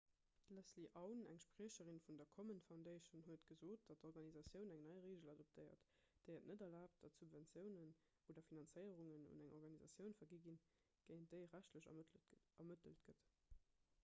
d'leslie aun eng spriecherin vun der komen foundation huet gesot datt d'organisatioun eng nei reegel adoptéiert déi et net erlaabt datt subventiounen oder finanzéierungen un eng organisatioun vergi ginn géint déi rechtlech ermëttelt gëtt